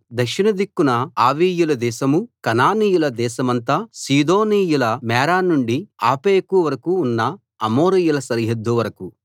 దక్షిణ దిక్కున ఆవీయుల దేశమూ కనానీయుల దేశమంతా సీదోనీయుల మేరా నుండి ఆఫెకు వరకూ ఉన్న అమోరీయుల సరిహద్దు వరకూ